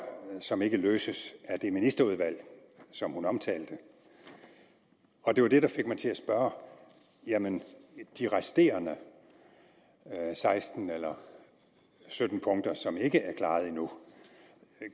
som ikke kunne løses af det ministerudvalg som hun omtalte det var det der fik mig til at spørge jamen de resterende seksten eller sytten punkter som ikke er klaret endnu